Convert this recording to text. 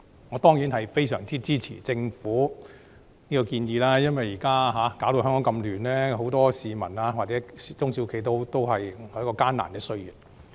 我當然非常支持政府這項建議，因為現時香港這麼混亂，很多市民或中小型企業正處於艱難歲月。